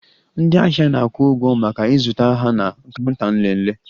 Ndị ahịa na-akwụ ụgwọ maka ịzụta ha na counter nlele